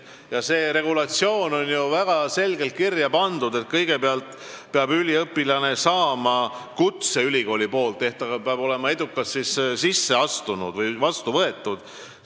Ja see on ju väga selgelt reguleeritud: kõigepealt peab üliõpilane saama ülikoolist kutse, ta peab olema edukalt sisse astunud ja sinna vastu võetud.